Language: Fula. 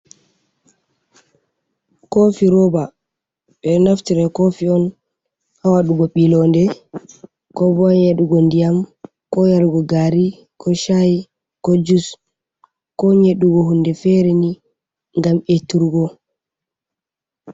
Koofi rooba, ɓe naftire kofi on ha waɗugo ɓi londe ko bo nyeɗugo ndiyam ko yarugo gaari ko shayi ko jus, ko nyedugo hunde feere ni ngam eturgo.